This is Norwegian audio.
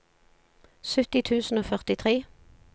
sytti tusen og førtitre